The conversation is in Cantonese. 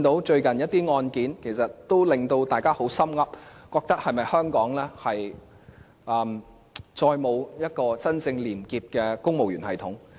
最近一些案件，令大家十分憂心，擔心香港是否再也沒有一個真正廉潔的公務員系統。